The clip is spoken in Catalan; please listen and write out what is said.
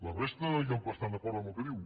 la resta ja bastant d’acord amb el que diu